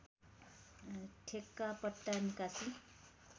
ठेक्का पट्टा निकासी